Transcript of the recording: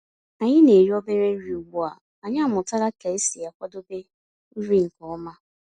Ànyị́ ná-èrí òbérè nrí ugbu à ànyị́ àmụ̀tàlà kà ésí àkwàdébé nrí nkè ọ̀ma.